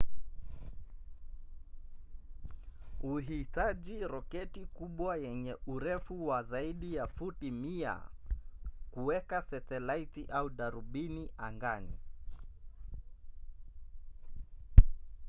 huhitaji roketi kubwa yenye urefu wa zaidi ya futi 100 kuweka setalaiti au darubini angani